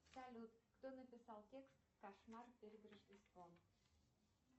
салют кто написал текст кошмар перед рождеством